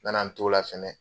Nana n t'o la fɛnɛ